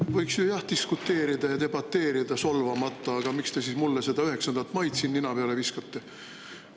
Võiks ju jah diskuteerida ja debateerida solvamata, aga miks te siis mulle seda 9. maid siin nina peale viskate?